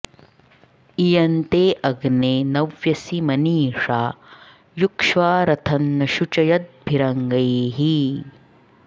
इ॒यं ते॑ अग्ने॒ नव्य॑सी मनी॒षा यु॒क्ष्वा रथं॒ न शु॒चय॑द्भि॒रङ्गैः॑